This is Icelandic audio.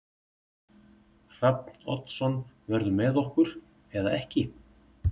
Hrafn Oddsson verður með okkur eða ekki.